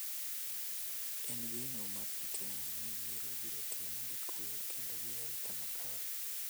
En geno mar ji tee ni yiero ibiro tim gi kwe kendo gi arita makare.